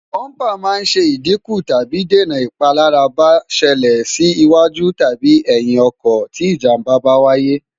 búmbà máa ń ṣẹ ìdíkù tàbí dènà ìpalára bá ṣẹlẹ̀ sí iwájú tàbi ẹ̀yìn ọkọ̀ tí ìjàmbá bá wáyé